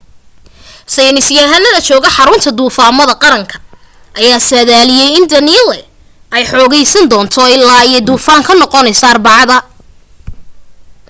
saynisyahanada jooga xarunta duufaamaha qaranka ayaa saadaadliyay in danielle ay xoogaysan doonto illaa ay duufaan ka noqonayso arbacada